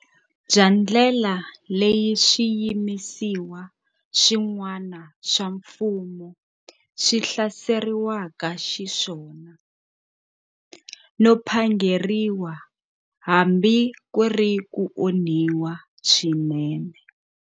Bya ndlela leyi swiyimisiwa swin'wana swa mfumo swi hlaserisiweke xiswona, no phangeriwa hambi ku ri ku onhiwa swinene.